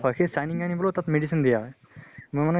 সেই shining আনিবলৈ তাত medicine দিয়া হয়। মোৰ মানে